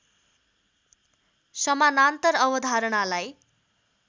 समानान्तर अवधारणालाई